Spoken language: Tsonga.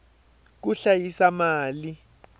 ku hlayisa mali